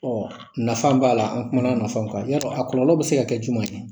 Ɔ nafa b'a la an kumana nafaw kan i y'a dɔn a kɔlɔlɔ bɛ se ka kɛ jumɛn ye